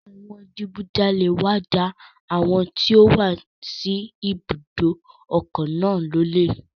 Àwọn adigunjalẹ̀ wá ja àwọn tí ó wà sí ibùdó òkun náà lólè.